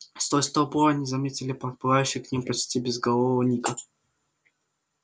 сквозь толпу они заметили подплывающего к ним почти безголового ника